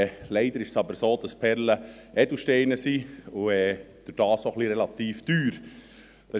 Leider ist es aber so, dass Perlen Edelsteine und dadurch auch relativ teuer sind.